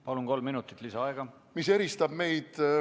Palun, kolm minutit lisaaega!